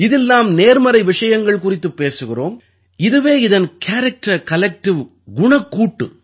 இதில் நாம் நேர்மறை விஷயங்கள் குறித்துப் பேசுகிறோம் இதுவே இதன் கேரக்டர்கலெக்டிவ் குணக்கூட்டு